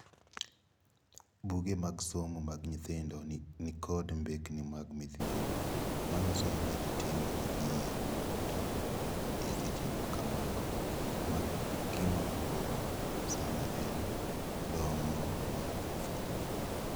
Buge mag somo mag nyithindo nikod mbekni mag midhiero manyiso kaka ji timo yiero mag gi e seche makamago. Ma gima duong sana e dongo mar nyathi.